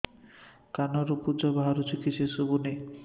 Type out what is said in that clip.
କାନରୁ ପୂଜ ବାହାରୁଛି କିଛି ଶୁଭୁନି